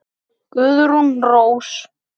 Guðrún Rós.